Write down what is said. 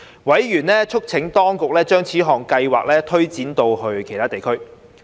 委員促請當局將此項計劃推展至其他地區。